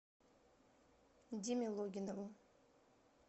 диме логинову